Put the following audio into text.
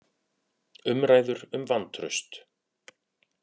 Umræður um vantraust